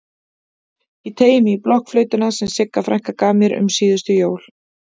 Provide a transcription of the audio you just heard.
Ég teygi mig í blokkflautuna sem Sigga frænka gaf mér um síðustu jól.